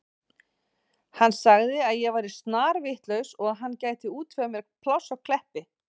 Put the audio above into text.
Hann sagði að ég væri snarvitlaus og hann gæti útvegað mér pláss á Kleppi.